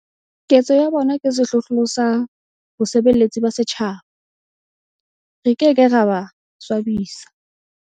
Ketso ya bona ke sehlohlolo sa bosebeletsi ba setjhaba. Re ke ke ra ba swabisa.